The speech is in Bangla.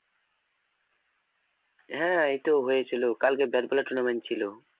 হ্যাঁ এইতো হয়েছিল কালকে bat ball tournament ছিল